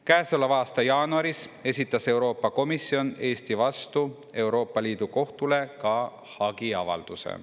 Käesoleva aasta jaanuaris esitas Euroopa Komisjon Eesti vastu Euroopa Liidu kohtule ka hagiavalduse.